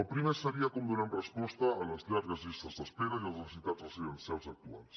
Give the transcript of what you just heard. el primer seria com donem resposta a les llargues llistes d’espera i a les necessitats residencials actuals